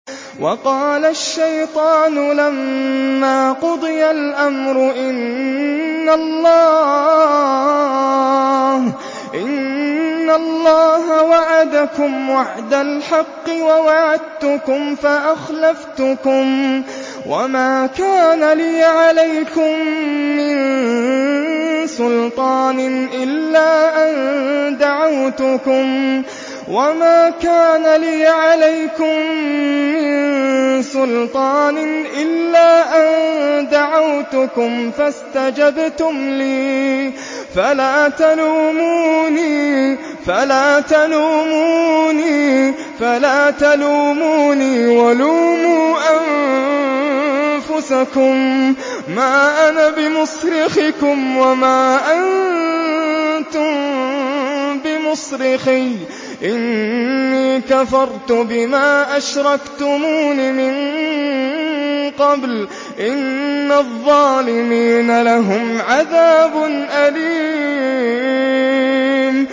وَقَالَ الشَّيْطَانُ لَمَّا قُضِيَ الْأَمْرُ إِنَّ اللَّهَ وَعَدَكُمْ وَعْدَ الْحَقِّ وَوَعَدتُّكُمْ فَأَخْلَفْتُكُمْ ۖ وَمَا كَانَ لِيَ عَلَيْكُم مِّن سُلْطَانٍ إِلَّا أَن دَعَوْتُكُمْ فَاسْتَجَبْتُمْ لِي ۖ فَلَا تَلُومُونِي وَلُومُوا أَنفُسَكُم ۖ مَّا أَنَا بِمُصْرِخِكُمْ وَمَا أَنتُم بِمُصْرِخِيَّ ۖ إِنِّي كَفَرْتُ بِمَا أَشْرَكْتُمُونِ مِن قَبْلُ ۗ إِنَّ الظَّالِمِينَ لَهُمْ عَذَابٌ أَلِيمٌ